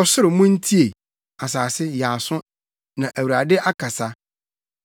Ɔsoro, muntie! Asase, yɛ aso! Na Awurade akasa: